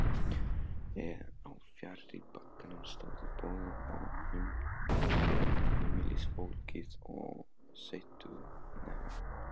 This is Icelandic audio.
Á fjarri bakkanum stóðu bóndinn og heimilisfólkið og steyttu hnefa.